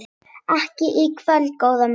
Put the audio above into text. Ekki í kvöld, góða mín.